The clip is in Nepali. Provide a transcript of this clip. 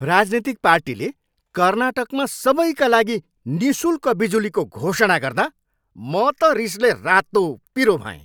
राजनीतिक पार्टीले कर्नाटकमा सबैका लागि निःशुल्क बिजुलीको घोषणा गर्दा म त रिसले रातोपिरो भएँ।